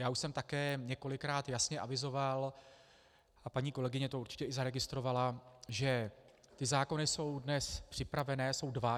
Já už jsem také několikrát jasně avizoval, a paní kolegyně to určitě i zaregistrovala, že ty zákony jsou dnes připravené, jsou dva.